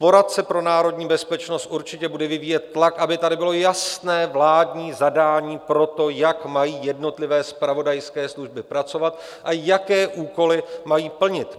Poradce pro národní bezpečnost určitě bude vyvíjet tlak, aby tady bylo jasné vládní zadání pro to, jak mají jednotlivé zpravodajské služby pracovat a jaké úkoly mají plnit.